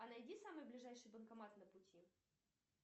а найди самый ближайший банкомат на пути